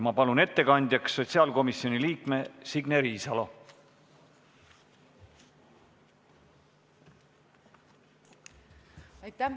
Ma palun ettekandjaks sotsiaalkomisjoni liikme Signe Riisalo!